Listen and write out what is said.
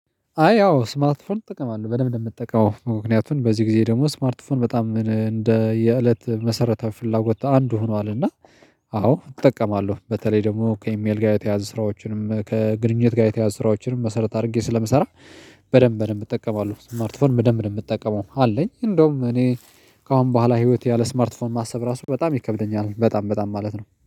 አይ ያው ስማርትፎን ጠቀማለሁ በደንብ እንደምትጠቀመው ምክንያቱን በዚህ ጊዜ ደግሞ ስማርትፎን በጣም እንደ የእለት መሰረተ ፍላጎት አንዱ ሆኗል። እና አዎ እጠቀማለሁ በተለይ ደግሞ ከኢሜል ጋር የተያያዘ ስራዎችንም ከግንኙነት ጋር የተያያዘ ስራዎችንም መሰረት አድርጌ ስለምሰራ። በደንብ በደንብ እጠቀማለሁ ስማርት ፎን በደንብ ነው ምትጠቀመው አለኝ? እንደውም እኔ ከአሁን በኋላ ህይወት ያለ ስማርት ፎን ማሰብ ራሱ በጣም ይከብደኛል በጣም በጣም ማለት ነው